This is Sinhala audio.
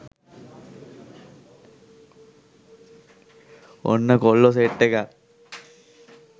ඔන්න කොල්ලො සෙට්එකක්